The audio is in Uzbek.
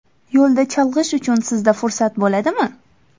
Yo‘lda chalg‘ish uchun sizda fursat bo‘ladimi?